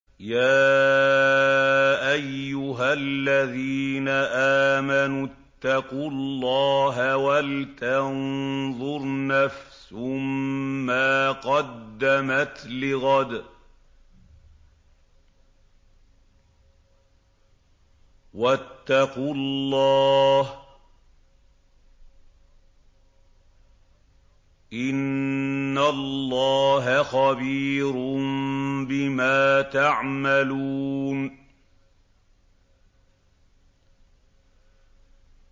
يَا أَيُّهَا الَّذِينَ آمَنُوا اتَّقُوا اللَّهَ وَلْتَنظُرْ نَفْسٌ مَّا قَدَّمَتْ لِغَدٍ ۖ وَاتَّقُوا اللَّهَ ۚ إِنَّ اللَّهَ خَبِيرٌ بِمَا تَعْمَلُونَ